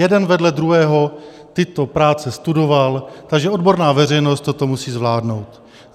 Jeden vedle druhého tyto práce studoval, takže odborná veřejnost toto musí zvládnout.